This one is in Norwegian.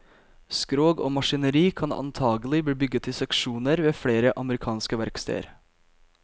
Skrog og maskineri kan antagelig bli bygget i seksjoner ved flere amerikanske verksteder.